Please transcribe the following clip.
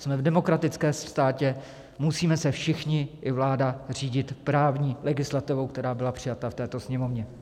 Jsme v demokratickém státě, musíme se všichni, i vláda, řídit právní legislativou, která byla přijata v této Sněmovně.